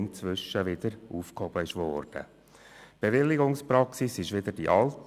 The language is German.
Die Bewilligungspraxis ist wieder die alte.